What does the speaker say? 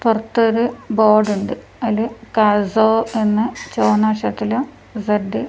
പുറത്തൊരു ബോർഡ് ഉണ്ട് അതില് എന്ന് ചുവന്ന അക്ഷരത്തിലും ഇസഡ് --